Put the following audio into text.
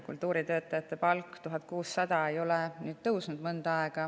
Kultuuritöötajate palk, 1600 eurot, ei ole mõnda aega tõusnud.